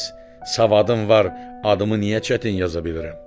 Bəs savadım var, adımı niyə çətin yaza bilirəm?